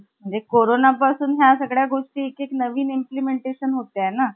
आणि कोरोना पासून ह्या एक एक नवीन गोष्टी implementation होतय ना.